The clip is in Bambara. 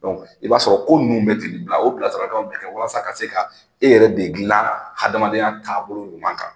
i b'a sɔrɔ ko ninnu bɛ bila, o bila sira kan bɛ kɛ walasa ka se ka, e yɛrɛ de dilan hadamadenya taabolo ɲuman kan.